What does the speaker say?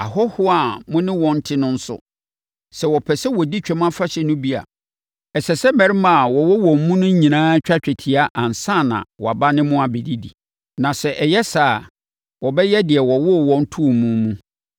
“Ahɔhoɔ a mo ne wɔn te no nso, sɛ wɔpɛ sɛ wɔdi Twam Afahyɛ no bi a, ɛsɛ sɛ mmarima a wɔwɔ wɔn mu no nyinaa twa twetia ansa na wɔaba ne mo abɛdi. Na sɛ ɛyɛ saa a, wɔbɛyɛ deɛ wɔwoo wɔn too mu mu.